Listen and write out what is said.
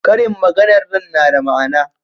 ƙarin maganar nan na da ma'ana